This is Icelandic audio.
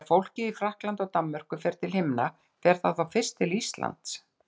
Þegar fólkið í Frakklandi og Danmörku fer til himna fer það þá fyrst til Íslands?